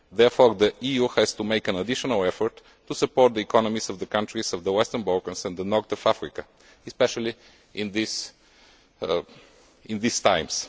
Therefore, the EU has to make an additional effort to support the economies of the countries of the Western Balkans and North Africa, especially in these times.